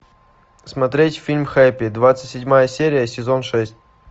смотреть фильм хэппи двадцать седьмая серия сезон шесть